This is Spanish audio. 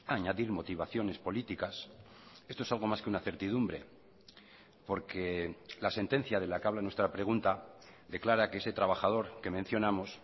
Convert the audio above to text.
a añadir motivaciones políticas esto es algo más que una certidumbre porque la sentencia de la que habla nuestra pregunta declara que ese trabajador que mencionamos